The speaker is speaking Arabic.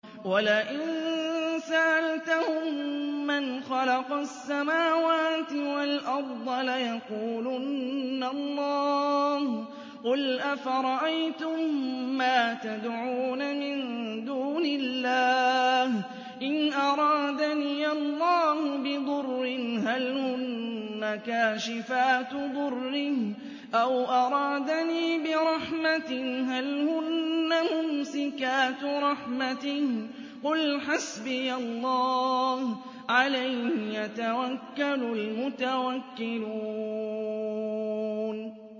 وَلَئِن سَأَلْتَهُم مَّنْ خَلَقَ السَّمَاوَاتِ وَالْأَرْضَ لَيَقُولُنَّ اللَّهُ ۚ قُلْ أَفَرَأَيْتُم مَّا تَدْعُونَ مِن دُونِ اللَّهِ إِنْ أَرَادَنِيَ اللَّهُ بِضُرٍّ هَلْ هُنَّ كَاشِفَاتُ ضُرِّهِ أَوْ أَرَادَنِي بِرَحْمَةٍ هَلْ هُنَّ مُمْسِكَاتُ رَحْمَتِهِ ۚ قُلْ حَسْبِيَ اللَّهُ ۖ عَلَيْهِ يَتَوَكَّلُ الْمُتَوَكِّلُونَ